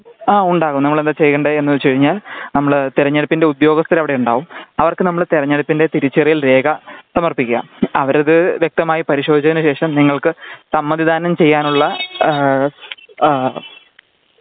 ആ ഉണ്ടാകും നമ്മളെന്താ ചെയ്യേണ്ട എന്ന് വച്ച് കഴിഞ്ഞാൽ നമ്മള് തിരഞ്ഞെടുപ്പിന്റെ ഉദ്യോഗസ്ഥര് അവിടെ ഉണ്ടാകും അവർക്ക് നമ്മള് തിരഞ്ഞെടുപ്പിന്റെ തിരിച്ചറിയൽ രേഖ സമർപ്പിക്കുക . അവരത് വ്യക്തമായി പരിശോധിച്ചതിനു ശേഷം നിങ്ങൾക്ക് സമ്മതിദാനം ചെയ്യുവാനുള്ള ഹ് ഹ്